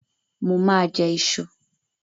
Mo ma jẹ́ ìṣù